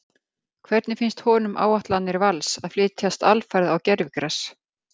Hvernig finnst honum áætlanir Vals að flytjast alfarið á gervigras?